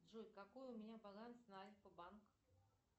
джой какой у меня баланс на альфа банк